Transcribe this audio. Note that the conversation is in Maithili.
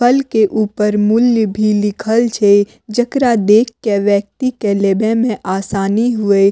फल के ऊपर मूल्य भी लिखल छै जेकरा देख के व्यक्ति के ले वे में आसानी हुए।